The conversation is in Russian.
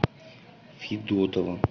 федотова